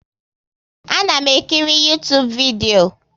A na m ekiri Uytubu vidio